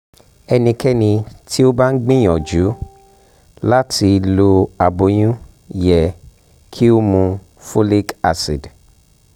ẹnikẹni ti o ba n gbiyanju lati lo aboyun yẹ ki o mu folic acid